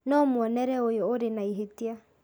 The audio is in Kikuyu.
No muonere ũyũ ũrĩ na ihĩtia